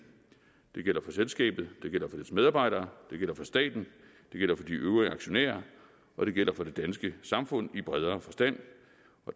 det gælder for selskabet det gælder for dets medarbejdere det gælder for staten det gælder for de øvrige aktionærer og det gælder for det danske samfund i bredere forstand